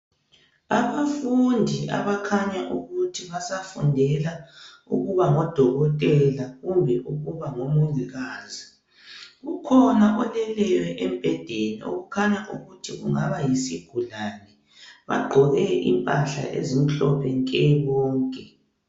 Abafundi abakhanya ukuthi basafundela ukuba ngodokotela kumbe ukuba ngomongikazi, kukhona oleleyo embhedeni okukhanyayo ukuthi kungaba yisigulane . Bagqoke izimpahla ezimhlophe nke bonke.